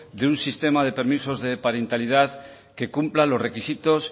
de un sistema de permisos de parentalidad que cumpla los requisitos